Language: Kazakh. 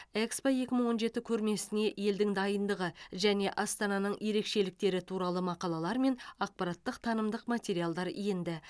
экспо екі мың он жеті көрмесіне елдің дайындығы және астананың ерекшеліктері туралы мақалалар мен ақпараттық танымдық материалдар енді